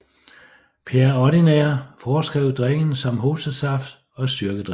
Pierre Ordinaire foreskrev drikken som hostesaft og styrkedrik